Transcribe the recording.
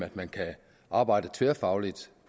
at man kan arbejde tværfagligt